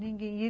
Ninguém.